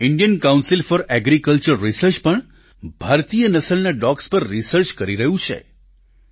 Indian council of agriculture research પણ ભારતીય નસલના ડોગ્સ પર રિસર્ચ કરી રહ્યું છે